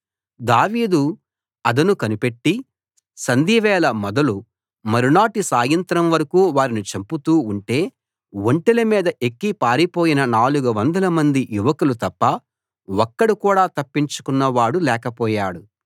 దావీదు అదను కనిపెట్టి సంధ్యవేళ మొదలు మరునాటి సాయంత్రం వరకూ వారిని చంపుతూ ఉంటే ఒంటెల మీద ఎక్కి పారిపోయిన 400 మంది యువకులు తప్ప ఒక్కడు కూడా తప్పించుకొన్నవాడు లేకపోయాడు